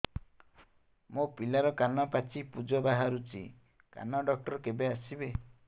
ମୋ ପିଲାର କାନ ପାଚି ପୂଜ ବାହାରୁଚି କାନ ଡକ୍ଟର କେବେ ଆସିବେ